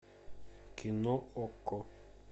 кино окко